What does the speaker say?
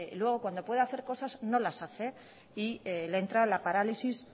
luego cuando puede hacer cosas no las hace y le entra la parálisis